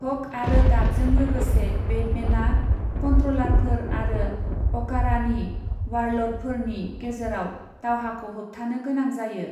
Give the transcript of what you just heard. हक आरो डाभजों लोगोसे बेटमेनआ कन्ट्र'लारफोर आरो अकारानि वारल'डफोरनि गेजेराव दावहाखौ होबथानो गोनां जायो।